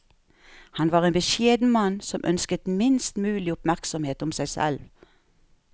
Han var en beskjeden mann som ønsket minst mulig oppmerksomhet om seg selv.